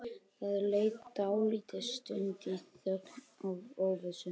Það leið dálítil stund í þögn og óvissu.